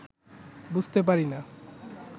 বুঝতে পারি না